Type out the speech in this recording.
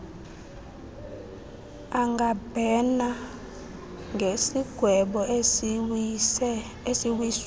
angabhena ngesigwebo esiwiswe